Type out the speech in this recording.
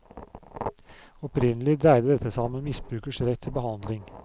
Opprinnelig dreide dette seg om en misbrukers rett til behandling.